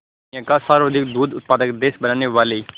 दुनिया का सर्वाधिक दूध उत्पादक देश बनाने वाले